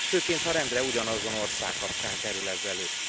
Főként, ha rendre ugyanazon ország kapcsán kerül ez elő.